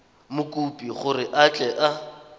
mokopi gore a tle a